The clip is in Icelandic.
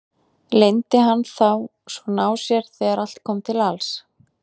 Leyndi hann þá svona á sér þegar allt kom til alls?